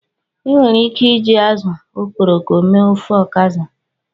Ị nwere ike iji azụ okporoko mee ofe Okazi.